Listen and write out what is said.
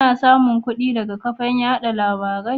Kanasamun kudi daga kafan yada labarai?